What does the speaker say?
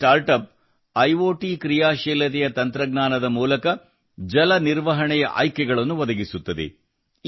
ಈ startup I OT ಹೊಂದಿದ ತಂತ್ರಜ್ಞಾನದ ಮೂಲಕ ಜಲ ನಿರ್ವಹಣೆಯ ಆಯ್ಕೆಗಳನ್ನು ಒದಗಿಸುತ್ತದೆ